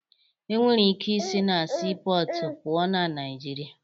E nwere ike i si na siipọọtụ pụọ ná Naịjirịa